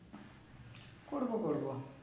করবো করবো